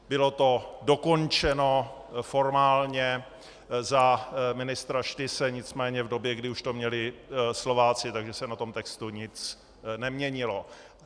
Bylo to dokončeno formálně za ministra Štyse, nicméně v době, kdy už to měli Slováci, takže se na tom textu nic neměnilo.